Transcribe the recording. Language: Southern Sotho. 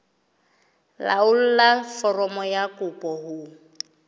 laolla foromo ya kopo ho